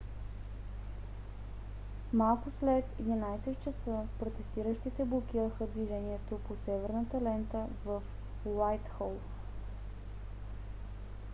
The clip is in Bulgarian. малко след 11:00 часа протестиращите блокираха движението по северната лента в уайтхол